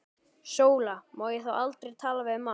SÓLA: Má ég þá aldrei tala við mann?